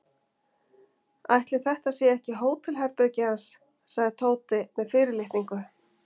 Ætli þetta sé ekki hótelherbergið hans sagði Tóti með fyrirlitningu.